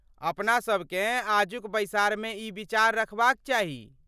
अपनासभकेँ आजुक बैसारमे ई विचार रखबाक चाही।